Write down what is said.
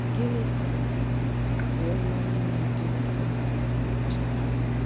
Gịnị um bụ ọrụ onye na-eduzi Ọmụmụ Ihe Ụlọ Nche?